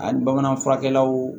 A bamanan furakɛlaw